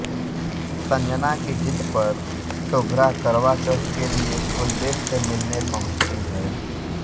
संजना की जिद पर शुभ्रा करवा चौथ के लिए कुलदीप से मिलने पहुंचती हैं